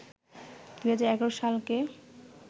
২০১১ সালকে